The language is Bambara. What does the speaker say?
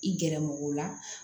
I gɛrɛ mɔgɔ la